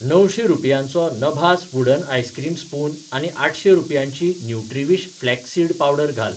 णवशें रुपयांचो नभास वुडन आइसक्रीम स्पून आनी आठशें रुपयांची न्युट्रीविश फ्लॅक्स सीड पावडर घाल.